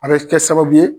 A bɛ kɛ sababu ye